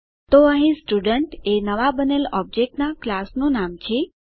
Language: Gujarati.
તો અહીં સ્ટુડન્ટ એ નવાં બનેલ ઓબજેક્ટ નાં ક્લાસ નું નામ છે